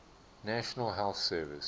national health service